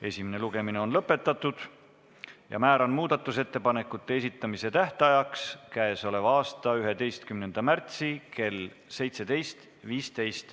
Esimene lugemine on lõpetatud ja määran muudatusettepanekute esitamise tähtajaks käesoleva aasta 11. märtsi kell 17.15.